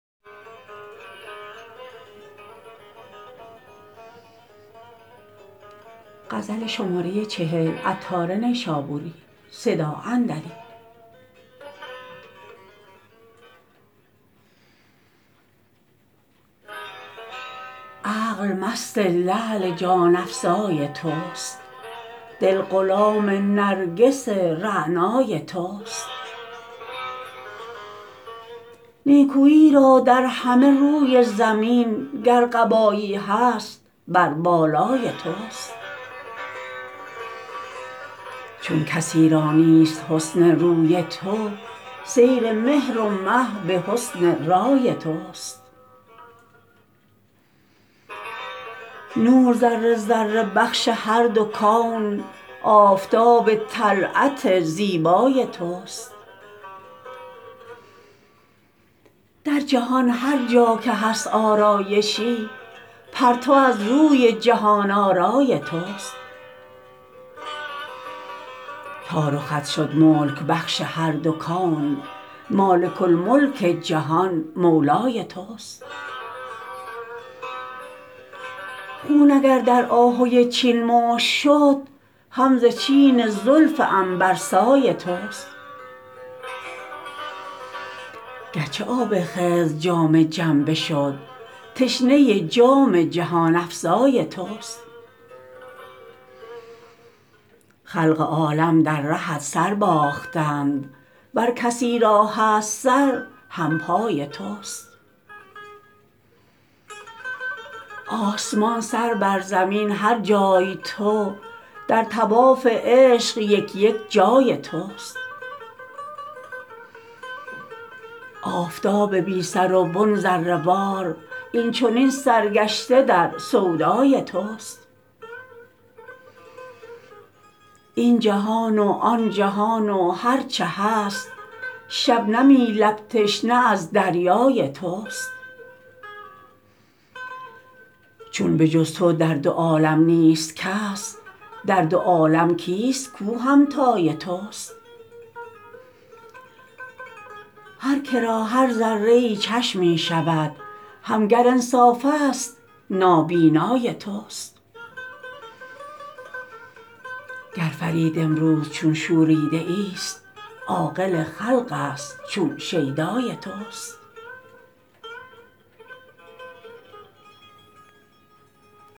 عقل مست لعل جان افزای توست دل غلام نرگس رعنای توست نیکویی را در همه روی زمین گر قبایی هست بر بالای توست چون کسی را نیست حسن روی تو سیر مهر و مه به حسن رای توست نور ذره ذره بخش هر دو کون آفتاب طلعت زیبای توست در جهان هرجا که هست آرایشی پرتو از روی جهان آرای توست تا رخت شد ملک بخش هر دو کون مالک الملک جهان مولای توست خون اگر در آهوی چین مشک شد هم ز چین زلف عنبرسای توست گرچه آب خضر جام جم بشد تشنه جام جهان افزای توست خلق عالم در رهت سر باختند ور کسی را هست سر همپای توست آسمان سر بر زمین هر جای تو در طواف عشق یک یک جای توست آفتاب بی سر و بن ذره وار این چنین سرگشته در سودای توست این جهان و آن جهان و هرچه هست شبنمی لب تشنه از دریای توست چون به جز تو در دو عالم نیست کس در دو عالم کیست کوهمتای توست هر که را هر ذره ای چشمی شود هم گر انصاف است نابینای توست گر فرید امروز چون شوریده ای است عاقل خلق است چون شیدای توست